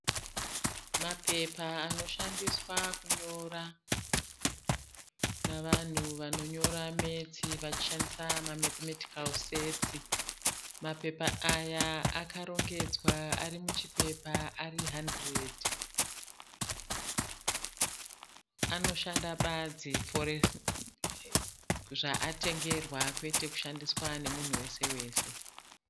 Matombo nemashirabhu. Matombo erudzi rweruware nemashirabhu. Mashirabhu anoratidza kuti akamera mamwe mukati mematombo. Anoratidza kuita hutano hwakanaka uye nzvimbo yacho inoratidza kuti ine matombo-matombo akawanda asi ari madiki nehumwe huswa hwakamera mumatombo iwayo.